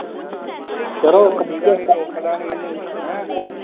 ਕਰੋ ਨਹੀਂ, ਚੁੱਕਦਾ ਨਹੀਂ ਮੈਨੂੰ, ਹੈਂ